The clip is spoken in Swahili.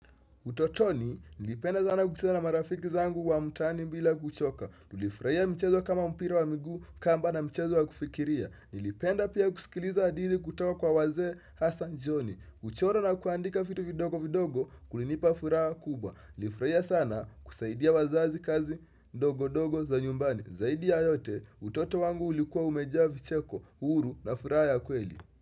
Utotoni, nilipenda sana kucheza na marafiki zangu wa mtaani bila kuchoka. Nilifurahia michezo kama mpira wa miguu kamba na mchezo wa kufikiria. Nilipenda pia kusikiliza hadithi kutoka kwa wazee Hassan Johnny. Kuchora na kuandika vitu vidogo vidogo kulinipa furaha kubwa. Nilifurahia sana kusaidia wazazi kazi ndogo ndogo za nyumbani. Zaidi ya yote, utoto wangu ulikuwa umejaa vi cheko, uhuru na furaha ya kweli.